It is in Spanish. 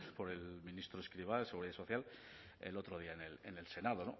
por el ministro escrivá de seguridad social el otro día en el senado